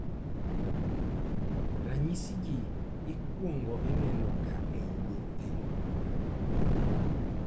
. Ranyisi gi ikuongo ineno ga e nyithindo